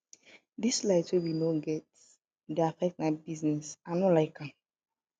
dis light wey we no get dey affect my business i no like am